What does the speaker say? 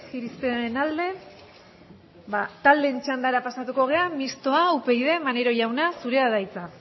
irizpenaren alde taldeen txandara pasatuko gara mistoa upyd maneiro jauna zurea da hitza